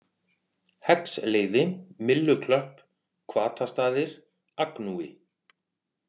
Heggsleiði, Mylluklöpp, Hvatastaðir, Agnúi